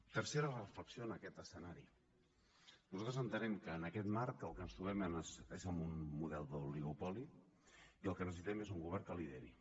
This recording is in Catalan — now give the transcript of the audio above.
tercera reflexió en aquest escenari nosaltres entenem que en aquest marc amb el que ens trobem és amb un model d’oligopoli i el que necessitem és un govern que lideri